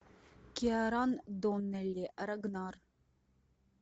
киаран доннелли рагнар